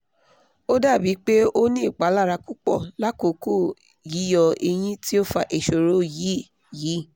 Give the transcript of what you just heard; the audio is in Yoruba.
o dabi pe o ni ipalara pupọ lakoko yiyọ eyín ti o fa iṣoro yii yii